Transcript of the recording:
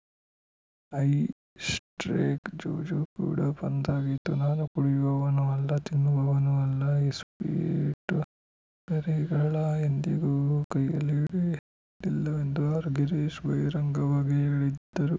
high ಸ್ಪ್ರೇಕ್‌ ಜೂಜು ಕೂಡಾ ಬಂದ್‌ ಆಗಿತ್ತು ನಾನು ಕುಡಿಯುವವನು ಅಲ್ಲ ತಿನ್ನುವವನು ಅಲ್ಲ ಇಸ್ಪೀಟ್‌ ಗರಿಗಳ ಎಂದಿಗೂ ಕೈಯಲ್ಲಿ ಹಿಡಿದಿಲ್ಲವೆಂದು ಆರ್‌ ಗಿರೀಶ್‌ ಬಹಿರಂಗವಾಗಿಯೇ ಹೇಳಿದ್ದರು